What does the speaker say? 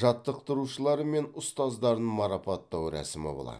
жаттықтырушылары мен ұстаздарын марапаттау рәсімі болады